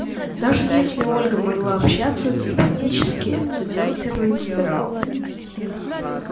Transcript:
даже если ольга могла общаться телепатически то делать этого не собиралась